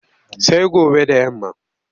Sai gobe da yamma.